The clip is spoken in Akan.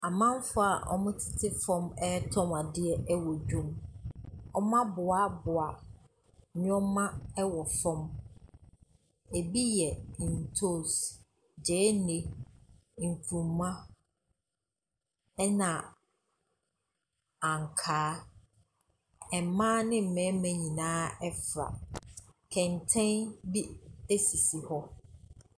Amamfoɔ a wɔtete fam ɛretɔn adeɛ wɔ dwam. Wɔaboaboa nneɛma wɔ fam, bi yɛ ntoosi, gyeene, nkruma, na ankaa. Mmaa ne mmarima nyinaa fra. Kɛntɛn bi sisi hɔ.